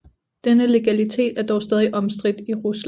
Denne legalitet er dog stadig omstridt i Rusland